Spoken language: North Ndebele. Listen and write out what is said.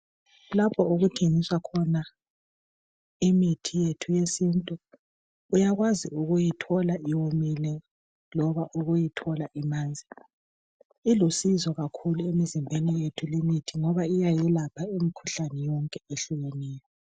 Lapho okuthengiswa imithi yethu yesintu uyakwazi ukuyithola iwomile loba ukuyithola imanzi. Ilusizo kakhulu emizimbeni yethu limithi ngoba iyayelapha imikhuhlane yonke ehlukeneyo.